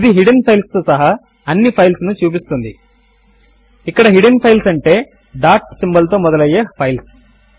ఇది hidden files తో సహా అన్ని ఫైల్స్ ను చూపిస్తుంది ఇక్కడ హిడ్డెన్ ఫైల్స్ అంటే డాట్ తో మొదలు అయ్యే ఫైల్స్